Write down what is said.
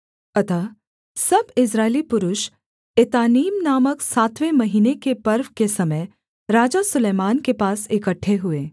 अतः सब इस्राएली पुरुष एतानीम नामक सातवें महीने के पर्व के समय राजा सुलैमान के पास इकट्ठे हुए